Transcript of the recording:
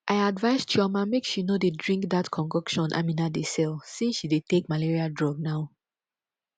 i advise chioma make she no dey drink dat concoction amina dey sell since she dey take malaria drug now